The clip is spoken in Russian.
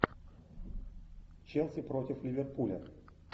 челси против ливерпуля